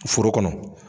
Foro kɔnɔ